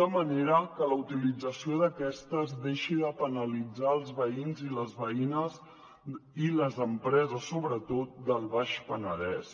de manera que la utilització d’aquestes deixi de penalitzar els veïns i les veïnes i les empreses sobretot del baix penedès